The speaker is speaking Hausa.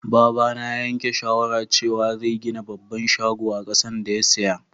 Baba na ya yanke shawara cewa zai gina babban shago a kasan da ya siya.